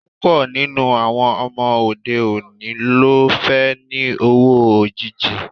Púpọ̀ nínú àwọn ọmọ òde òní ló fẹ́ ni owó òjìji